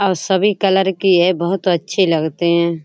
और सभी कलर की है बहुत अच्छी लगते हैं।